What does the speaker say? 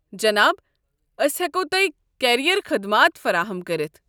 جناب، أسۍ ہٮ۪کو تۄہہِ کیریر خدمات فراہم کٔرتھ۔